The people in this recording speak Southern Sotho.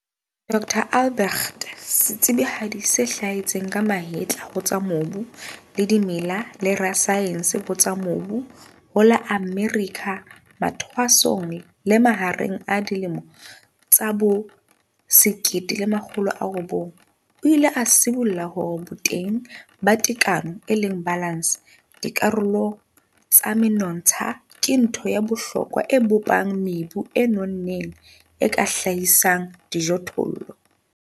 Dr Albrecht, setsebihadi se hlahetseng ka mahetla ho tsa mobu le dimela le rasaense ho tsa mobu ho la Amerika mathwasong le mahareng a dilemo tsa bo 1900, o ile a sibolla hore boteng ba tekano, balance, dikarolong tsa menontsha ke ntho ya bohlokwa e bopang mebu e nonneng, e ka hlahisang dijothollo.